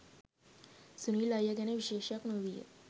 'සුනිල් අයියා ගැන විශේෂයක් නොවීය